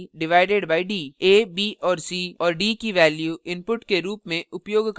a b c और d की values input के रूप में उपयोगकर्ता से प्राप्त की है